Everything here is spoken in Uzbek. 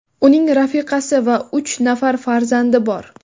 Uning rafiqasi va uch nafar farzandi bor.